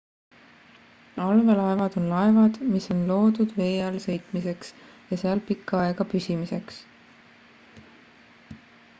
allveelaevad on laevad mis on loodud vee all sõitmiseks ja seal pikka aega püsimiseks